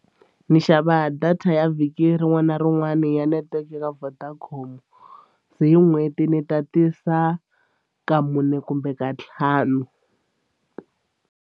Ni xava data ya vhiki rin'wana na rin'wana ya netiweke ya Vodacom se hi n'hweti ni tatisa ka mune kumbe ka ntlhanu.